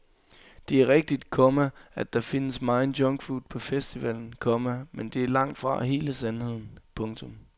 Det er rigtigt, komma at der findes megen junkfood på festivalen, komma men det er langtfra hele sandheden. punktum